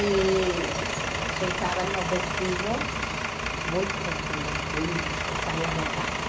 E se usava nos vestidos, muito vestido, bem saia rodada.